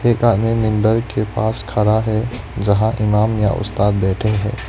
एक आदमी के पास खड़ा है जहां इमाम या उस्ताद बैठे हैं।